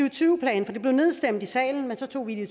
og tyve plan for det blev nedstemt i salen men så tog vi det